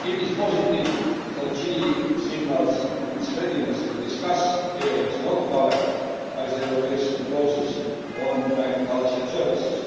It is positive that Chile signals its readiness to discuss areas not covered by the evolution clauses on agriculture and services.